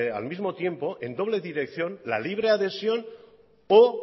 al mismo tiempo en doble dirección la libre adhesión o